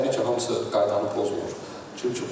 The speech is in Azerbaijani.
İndi təbii ki, hamısı dövlət qaydanı pozur.